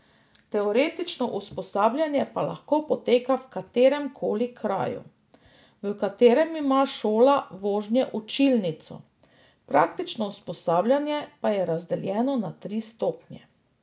Teoretično usposabljanje pa lahko poteka v katerem koli kraju, v katerem ima šola vožnje učilnico, praktično usposabljanje pa je razdeljeno na tri stopnje.